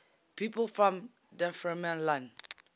people from dunfermline